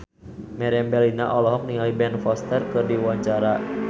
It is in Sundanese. Meriam Bellina olohok ningali Ben Foster keur diwawancara